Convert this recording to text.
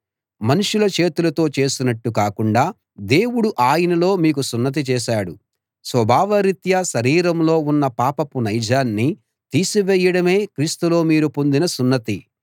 మనుషుల చేతులతో చేసినట్టు కాకుండా దేవుడు ఆయనలో మీకు సున్నతి చేశాడు స్వభావరీత్యా శరీరంలో ఉన్న పాపపు నైజాన్ని తీసివేయడమే క్రీస్తులో మీరు పొందిన సున్నతి